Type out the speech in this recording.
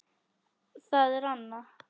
Það er Anna.